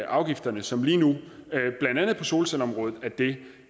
afgifterne som lige nu blandt andet på solcelleområdet er det